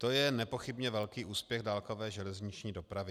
To je nepochybně velký úspěch dálkové železniční dopravy.